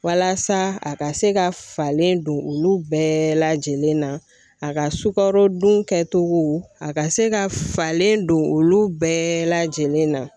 Walasa a ka se ka falen don olu bɛɛ lajɛlen na ,a ka sukaro dun kɛ cogo, a ka se ka falen don olu bɛɛ lajɛlen na.